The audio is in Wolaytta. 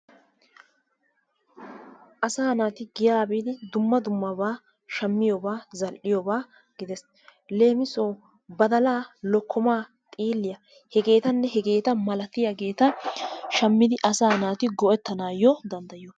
Asaa naati giyaa biidi dumma dummabaa shaamiyoobaa zal'iiyoobaa gidees. Leemisuwawu badalaa, lokomaa, xiiliyaa heegeettanne hegeeta malattiyageeta shaamidi asaa naati go'ettannaayo danddayees.